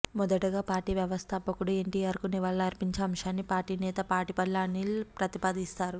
మొదటగా పార్టీ వ్యవస్థాపకుడు ఎన్టీఆర్కు నివాళులర్పించే అంశాన్ని పార్టీ నేత పాటిబండ్ల అనిల్ ప్రతిపాదిస్తారు